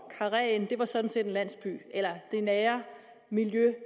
karreen sådan set en landsby det nære miljø